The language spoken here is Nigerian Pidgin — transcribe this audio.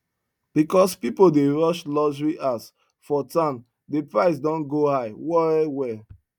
because people dey rush luxury house for town the price don go high well well